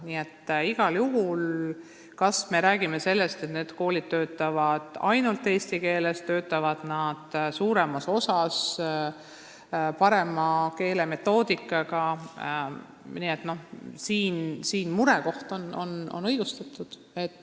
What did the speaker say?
Nii et igal juhul, kui me räägime sellest, et need koolid töötavad ainult eesti keeles, et nad töötavad parema metoodikaga – mure on õigustatud.